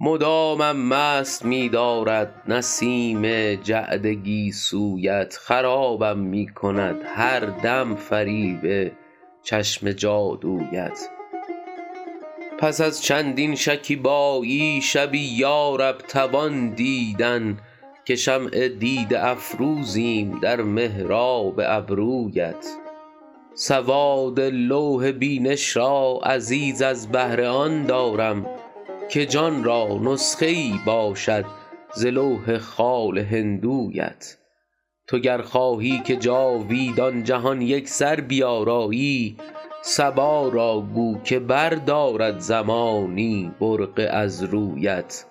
مدامم مست می دارد نسیم جعد گیسویت خرابم می کند هر دم فریب چشم جادویت پس از چندین شکیبایی شبی یا رب توان دیدن که شمع دیده افروزیم در محراب ابرویت سواد لوح بینش را عزیز از بهر آن دارم که جان را نسخه ای باشد ز لوح خال هندویت تو گر خواهی که جاویدان جهان یکسر بیارایی صبا را گو که بردارد زمانی برقع از رویت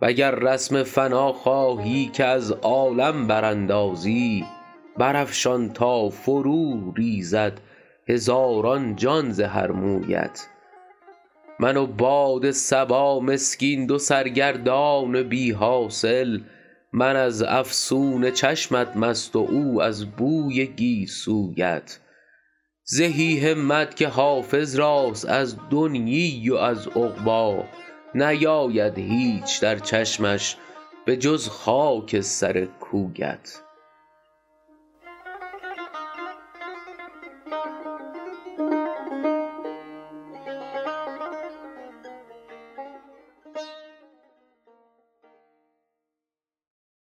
و گر رسم فنا خواهی که از عالم براندازی برافشان تا فروریزد هزاران جان ز هر مویت من و باد صبا مسکین دو سرگردان بی حاصل من از افسون چشمت مست و او از بوی گیسویت زهی همت که حافظ راست از دنیی و از عقبی نیاید هیچ در چشمش به جز خاک سر کویت